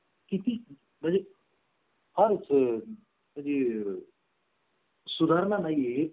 आणि बेकायदेशीर व्यवहारांमध्ये गुंतलेले मंत्री आणि त्यांचे कुटुंब यांसारख्या अनेक बातम्या आपण पाहतो सत्तेत येण्यापूर्वी सरकारी जनतेला